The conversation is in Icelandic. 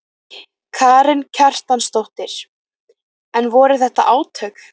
Karen Kjartansdóttir: En voru þetta átök?